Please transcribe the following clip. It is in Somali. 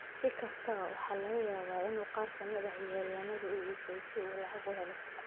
Si kastaba, waxaa laga yaabaa inuu qaar ka mid ah ciyaaryahannada u iibsado si uu lacago u helo.